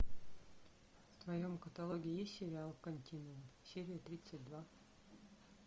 в твоем каталоге есть сериал континуум серия тридцать два